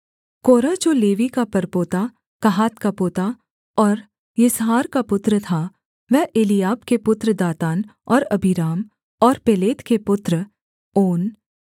कोरह जो लेवी का परपोता कहात का पोता और यिसहार का पुत्र था वह एलीआब के पुत्र दातान और अबीराम और पेलेत के पुत्र ओन